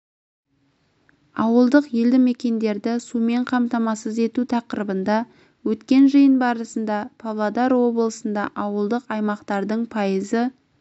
ауылдық елді мекендерді сумен қамтамасыз ету тақырыбында өткен жиын барысында павлодар облысында ауылдық аймақтардың пайызы